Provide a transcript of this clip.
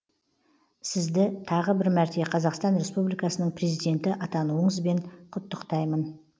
сізді тағы бір мәрте қазақстан республикасының президенті атануыңызбен құттықтаймын